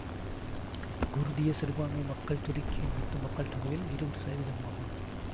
குர்திய சிறுபான்மை மக்கள் துருக்கியின் மொத்த மக்கள் தொகையில் இருபது சதவீதமாகும்